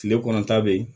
Tile kɔnɔta bɛ yen